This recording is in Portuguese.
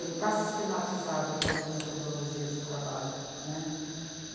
Ele está sistematizado enquanto metodologia de trabalho, né.